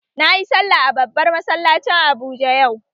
Na yi sallah a babban masallacin Abuja yau